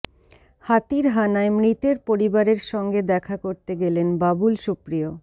হাতির হানায় মৃতের পরিবারের সঙ্গে দেখা করতে গেলেন বাবুল সুপ্রিয়